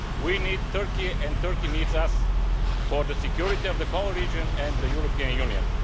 We need Turkey and Turkey needs us for the security of the whole region and the European Union.